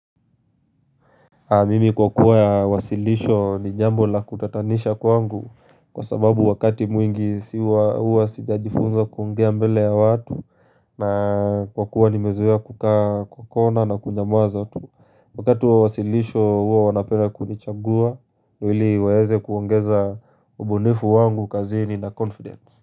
Mimi kwa kuwa ya wasilisho ni jambo la kutatanisha kwangu kwa sababu wakati mwingi siwa huwa sitajifunza kuongea mbele ya watu na kwa kuwa nimezoea kukaa kwa kona na kunyamuaza tu wakati wa wasilisho huwa wanapena kunichangua ili waweze kuongeza mbunifu wangu kazini na confidence.